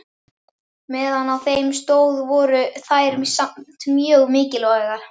Meðan á þeim stóð voru þær samt mjög mikilvægar.